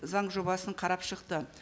заң жобасын қарап шықты